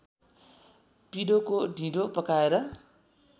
पिडोको ढिँडो पकाएर